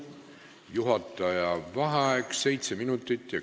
Juhataja vaheaeg 7 minutit ja 10 sekundit.